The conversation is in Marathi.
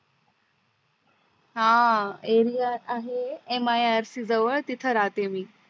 अं area आहे MIRC जवळ तिथं राहते मी